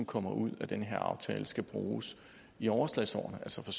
kommer ud af den her aftale skal bruges i overslagsårene altså fra